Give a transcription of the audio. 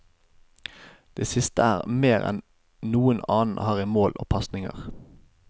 Det siste er mer enn noen annen har i mål og pasninger.